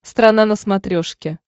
страна на смотрешке